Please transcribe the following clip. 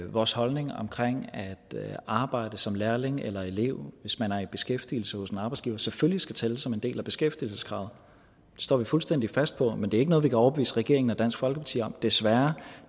vores holdning omkring at arbejdet som lærling eller elev hvis man er i beskæftigelse hos en arbejdsgiver selvfølgelig skal tælle som en del af beskæftigelseskravet det står vi fuldstændig fast på men det er ikke noget vi kan overbevise regeringen og dansk folkeparti om desværre